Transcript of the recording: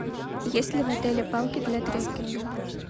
есть ли в отеле палки для трекинга